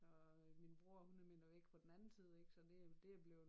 Og øh min bror 100 meter væk på den anden side ik så det det er bleven